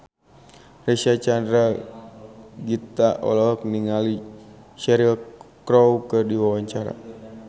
Reysa Chandragitta olohok ningali Cheryl Crow keur diwawancara